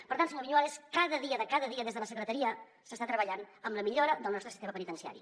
per tant senyor viñuales cada dia de cada dia des de la secretaria s’està treballant en la millora del nostre sistema penitenciari